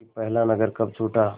कि पहला नगर कब छूटा